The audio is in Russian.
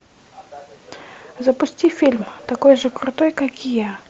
запусти фильм такой же крутой как я